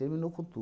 Terminou com